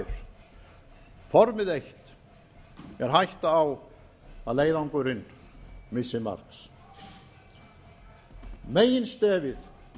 þær formið eitt er hætta á að leiðangurinn missi marks meginstefið